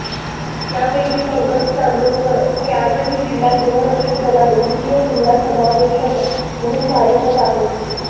यापैकी पंकज चांदोरकर हे आजही जिल्हा गृहरक्षक दलात द्वितीय जिल्हा समादेशक म्हणून कार्यरत आहेत